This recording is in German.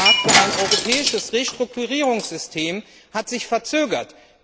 Der Vorschlag für ein europäisches Restrukturierungssystem hat sich verzögert.